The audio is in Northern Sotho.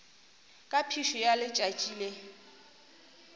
ka phišo ya letšatši le